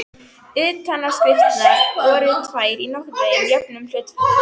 Utanáskriftirnar voru tvær í nokkurn veginn jöfnum hlutföllum.